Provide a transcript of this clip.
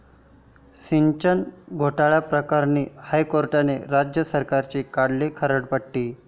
सिंचन घोटाळ्याप्रकरणी हायकोर्टानं राज्य सरकारची काढली खरडपट्टी